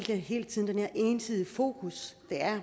hele tiden det her ensidige fokus